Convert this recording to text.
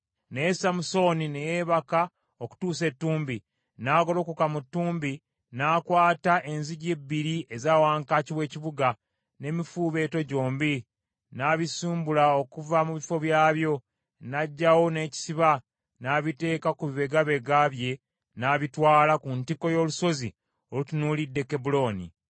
Naye Samusooni ne yeebaka okutuusa ettumbi, n’agolokoka mu ttumbi, n’akwata enzigi ebbiri eza wankaaki w’ekibuga, n’emifuubeeto gyombi, n’abisimbula okuva mu bifo byabyo, n’agyawo n’ekisiba, n’abiteeka ku bibegaabega bye n’abitwala ku ntikko y’olusozi olutunuulidde Kebbulooni.